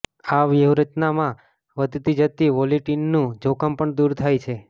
આ વ્યૂહરચનામાં વધતી જતી વોલેટિલિટીનું જોખમ પણ દૂર થાય છે